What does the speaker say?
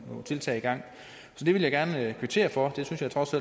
tiltag i gang så det vil jeg gerne kvittere for jeg synes trods